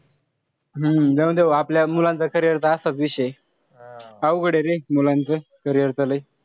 हम्म जाऊन दे भो आपल्या मुलांचं carrier चा असाच विषय ए. अवघड ए रे मुलांचं, carrier च लय.